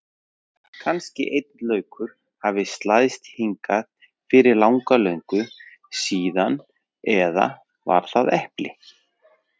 Kannski einn laukur hafi slæðst hingað fyrir langa löngu síðan eða var það epli.